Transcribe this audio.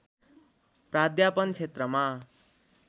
प्राध्यापन क्षेत्रमा